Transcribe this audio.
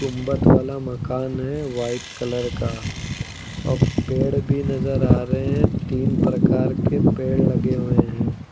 गुंबद वाला मकान है वाइट कलर का और पेड़ भी नजर आ रहे हैं तीन प्रकार के पेड़ लगे हुए हैं।